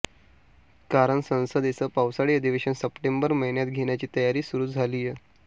कारण संसदेचं पावसाळी अधिवेशन सप्टेंबर महिन्यात घेण्याची तयारी सुरु झालीय